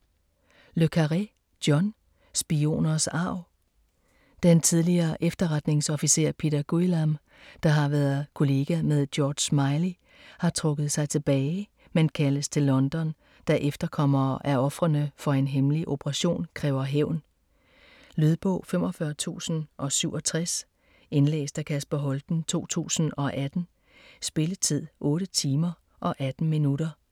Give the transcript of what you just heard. Le Carré, John: Spioners arv Den tidligere efterretningsofficer Peter Guillam, der har været kollega med George Smiley, har trukket sig tilbage, men kaldes til London, da efterkommerne af ofrene for en hemmelig operation kræver hævn. Lydbog 45067 Indlæst af Kasper Holten, 2018. Spilletid: 8 timer, 18 minutter.